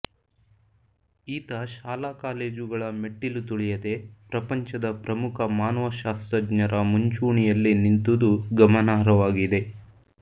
ಈತ ಶಾಲಾಕಾಲೇಜುಗಳ ಮೆಟ್ಟಿಲು ತುಳಿಯದೆ ಪ್ರಪಂಚದ ಪ್ರಮುಖ ಮಾನವಶಾಸ್ತ್ರಜ್ಞರ ಮುಂಚೂಣಿಯಲ್ಲಿ ನಿಂತುದು ಗಮನಾರ್ಹವಾಗಿದೆ